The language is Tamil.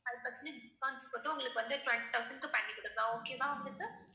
அது பாத்தீங்கன்னா discounts போட்டு உங்களுக்கு வந்து twenty thousand க்கு பண்ணி கொடுக்கலாம் okay வா உங்களுக்கு?